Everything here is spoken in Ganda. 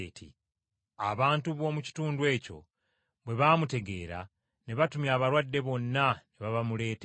Abantu b’omu kitundu ekyo bwe baamutegeera ne batumya abalwadde bonna ne babamuleetera.